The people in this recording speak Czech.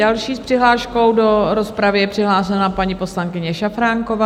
Další s přihláškou do rozpravy je přihlášena paní poslankyně Šafránková.